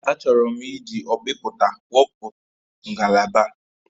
Achọrọ m iji ọkpịpụta wepụ ngalaba a